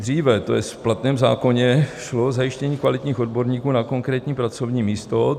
Dříve, to jest v platném zákoně, šlo o zajištění kvalitních odborníků na konkrétní pracovní místo.